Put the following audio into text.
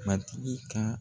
Matigi kan